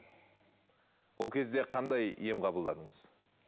ол кезде қандай ем қабылдадыңыз